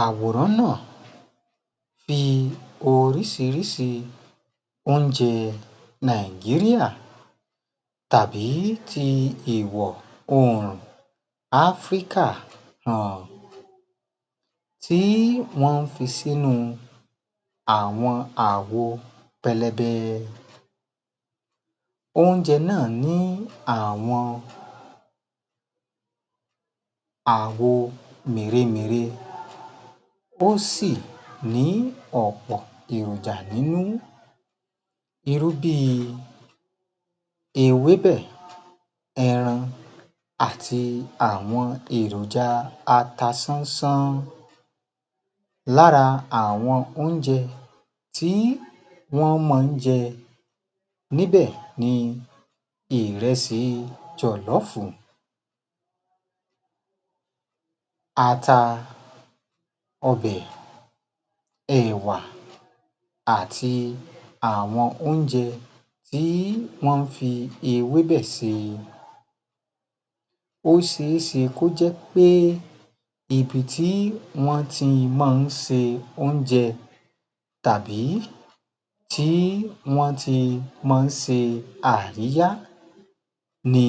Àwòrán náà fi oríṣiríṣi oúnjẹ Nàìjíríà tàbí ti ìwọ̀-oòrùn Áfríkà hàn, tí wọ́n ń fi sínú àwọn àwo pẹlẹbẹ, oúnjẹ náà ní àwọn àwo mèremère, ó sì ní ọ̀pọ̀ èròjà nínú, irú bí i ewébẹ̀, ẹran àti àwọn èròjà atasánsán, lára àwọn oúnjẹ tí wọ́n máa ń jẹ níbẹ̀ ni ìrẹsì jọ̀lọ́ọ̀fù, ata, ọbẹ̀, ẹ̀wà àti àwọn oúnjẹ bí wọ́n ń fi ewébẹ̀ ṣe. Ó ṣe é ṣe kó jẹ́ pé ibi tí wọ́n ti máa ń ṣe oúnjẹ tàbí tí wọ́n ti máa ń ṣe àríyá ni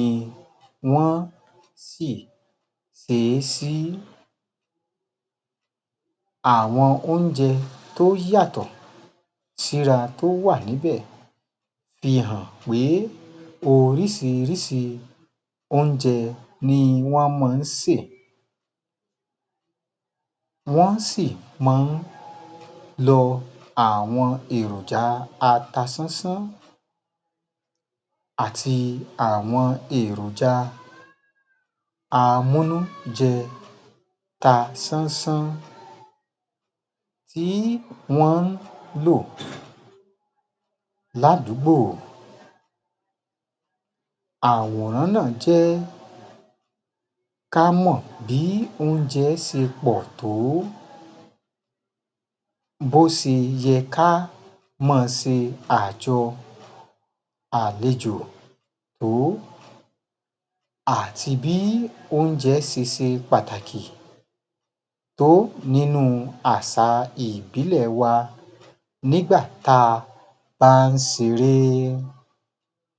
wọ́n si ṣe e sí, àwọn oúnjẹ tó yàtọ̀ síra tó wà níbẹ̀ fi hàn pé oríṣiríṣi oúnjẹ ni wọ́n máa ń sè. Wọ́n sì máa ń lọ àwọn èròjà atasánsán, àti àwọn èròjà amúnújẹ ta sánsán tí wọ́n ń lò ládùúgbò. Àwòrán náà jẹ́ ká mọ̀ bí oúnjẹ ṣe pọ̀ tó, bó ṣe yẹ ká máa ṣe àjọ àlejò tó, àti bí oúnjẹ ṣe ṣe pàtàkì tó nínú àṣà ìbílẹ̀ wa nígbà tí a bá ń ṣeré